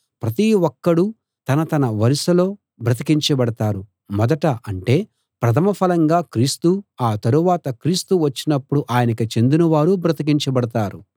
ప్రతి ఒక్కడూ తన తన వరుసలో బ్రతికించబడతారు మొదట అంటే ప్రథమ ఫలంగా క్రీస్తు ఆ తరువాత క్రీస్తు వచ్చినపుడు ఆయనకు చెందినవారు బ్రతికించబడతారు